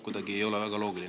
See ei ole ka väga loogiline.